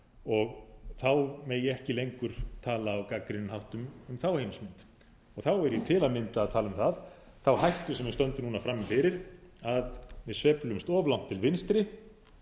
og þá megi ekki lengur tala á gagnrýninn hátt um þá heimsmynd þá er ég til að mynda að tala um þá hættu sem við stöndum núna frammi fyrir að við sveiflumst of langt til vinstri